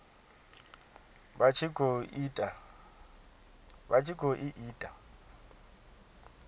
vha tshi khou i ita